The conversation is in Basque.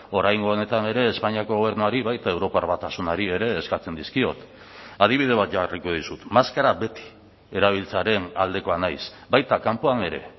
oraingo honetan ere espainiako gobernuari baita europar batasunari ere eskatzen dizkiot adibide bat jarriko dizut maskara beti erabiltzearen aldekoa naiz baita kanpoan ere